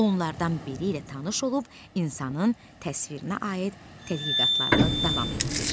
Onlardan biri ilə tanış olub insanın təsvirinə aid tədqiqatlarını davam etdir.